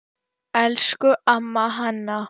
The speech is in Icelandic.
Elsku amma Hanna.